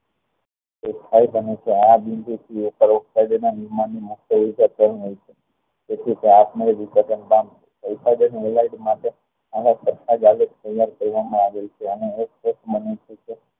દેખાય છે અને આ બિંદુ થી એક પરોપકાર મુખ્ય રીતે આલેખ તૈયાર કરવા માં આવેલ છે અને એક એક minute